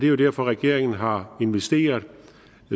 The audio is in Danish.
jo derfor at regeringen har investeret